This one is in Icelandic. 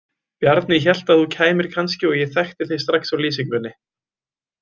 Bjarni hélt að þú kæmir kannski og ég þekkti þig strax á lýsingunni.